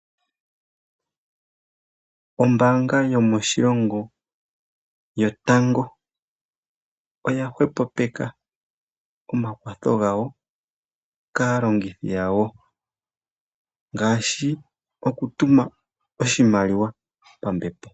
Ombaanga yomoshilongo yotango oya hwepopeka omakwatho gawo kaalongithi yawo ngaashi okutuma oshimaliwa pambepo.